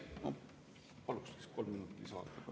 Palun kolm minutit lisaaega.